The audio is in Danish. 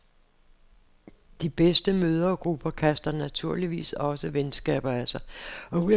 De bedste mødregrupper kaster naturligvis også venskaber af sig.